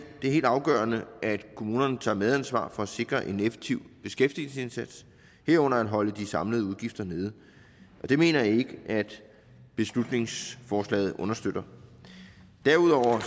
det er helt afgørende at kommunerne tager medansvar for at sikre en effektiv beskæftigelsesindsats herunder at holde de samlede udgifter nede og det mener jeg ikke at beslutningsforslaget understøtter derudover